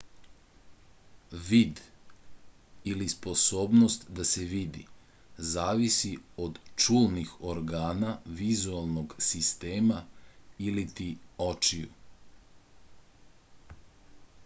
vid ili sposobnost da se vidi zavisi od čulnih organa vizuelnog sistema iliti očiju